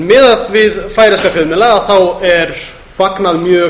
miðað við færeyska fjölmiðla er þar fagnað mjög